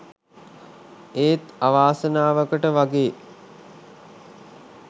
ඒත් අවාසනාවකට වගේ